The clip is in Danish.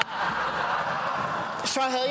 har